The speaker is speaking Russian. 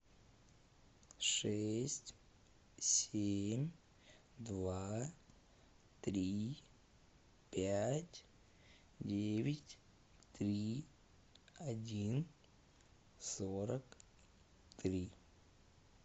шесть семь два три пять девять три один сорок три